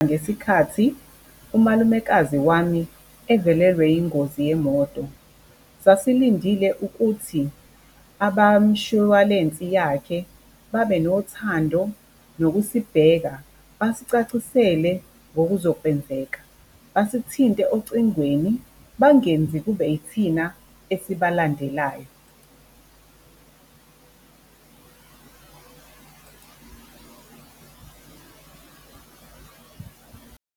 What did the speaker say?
Ngesikhathi umalumekazi wami evelelwe yingozi yemoto sasilindile ukuthi abamshwalensi yakhe babe nothando nokusibheka, basicacisele ngokuzokwenzeka, basithinte ocingweni bangenzi kube yithina esibalandelayo .